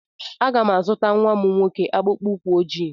Aga m azụta nwa m nwoke akpụkpọ ụkwụ ojii.